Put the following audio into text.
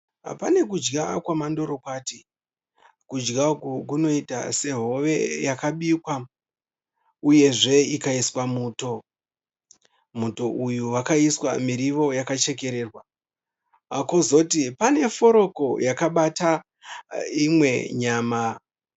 Pane kudya kwemandorokwati. Kudya uku kunoita sehove yakabikwa uyezve ikaiswa muto. Muto uyu wakaiswa miriwo yakachekererwa. Kwozoti pane forogo yakabata imwe nyama.